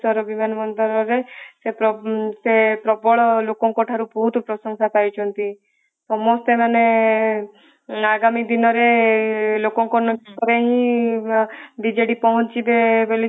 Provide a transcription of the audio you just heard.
ବିମାନବନ୍ଦରରେ ସେ ପ୍ରବ ସେ ପ୍ରବଳ ଲୋକଙ୍କ ଠାରୁ ବହୁତ ପ୍ରଶଂସା ପାଇଛନ୍ତି ସମସ୍ତେ ମାନେ ଆଗାମୀ ଦିନ ରେ ଲୋକଙ୍କ ନିକଟରେ ହିଁ ବିଜେଡି ପହଞ୍ଚିବେ